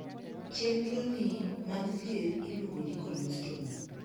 Chenro nii mag thieth iluongo ni 'colostomy'.